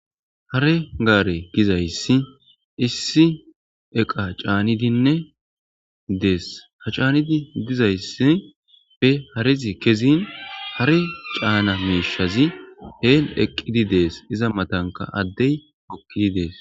Hare gaare gizayssi issi eqa caanidinne dees ha caanidi dizayssi pe harezi kezin hare caana meishazi heen eqqidi dees iza matanka addey mokkidi dees.